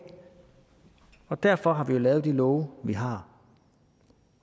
og derfor har vi jo lavet de love vi har